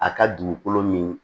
A ka dugukolo min